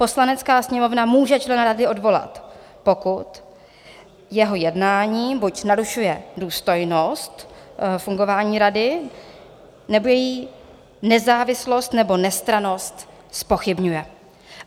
Poslanecká sněmovna může člena rady odvolat, pokud jeho jednání buď narušuje důstojnost fungování rady, nebo její nezávislost, nebo nestrannost zpochybňuje.